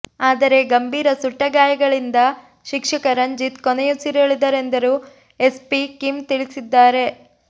ಆದರೆ ಗಂಭೀರ ಸುಟ್ಟಗಾಯಗಳಿಂದ ಶಿಕ್ಷಕ ರಂಜಿತ್ ಕೊನೆಯುಸಿರೆಳೆದರೆಂದು ಎಸ್ಪಿ ಕಿಮ್ ತಿಳಿಸಿದ್ದಾರೆ